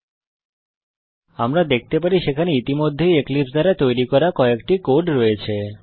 যেমনকি আমরা দেখতে পারি সেখানে ইতিমধ্যেই এক্লিপসে দ্বারা তৈরী করা কয়েকটি কোড রয়েছে